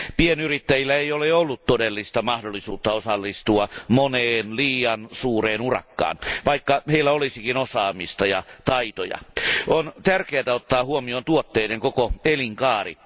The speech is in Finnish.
Pienyrittäjillä ei ole ollut todellista mahdollisuutta osallistua moneen liian suureen urakkaan, vaikka heillä olisikin osaamista ja taitoja. On tärkeätä ottaa huomioon tuotteiden koko elinkaari.